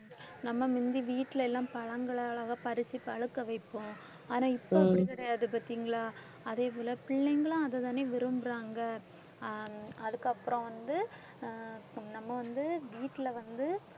நம்ம முந்தி வீட்டில எல்லாம் பழங்களை அழகா பறிச்சி பழுக்க வைப்போம் ஆனா இப்ப அப்படி கிடையாது பார்த்தீங்களா? அதே போல பிள்ளைங்களும் அதைதானே விரும்புறாங்க அஹ் அதுக்கப்புறம் வந்து நம்ம வந்து வீட்டில வந்து